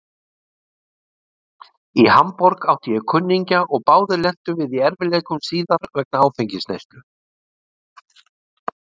Í Hamborg átti ég kunningja og báðir lentum við í erfiðleikum síðar vegna áfengisneyslu.